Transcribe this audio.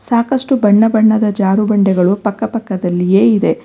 ಸಾಕಷ್ಟು ಬಣ್ಣ ಬಣ್ಣದ ಜಾರುಬಂಡೆಗಳು ಪಕ್ಕ ಪಕ್ಕದಲ್ಲಿಯೇ ಇದೆ.